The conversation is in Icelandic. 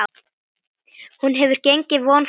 Hún hefur gengið vonum framar.